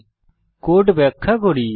আমি এখন কোড ব্যাখ্যা করি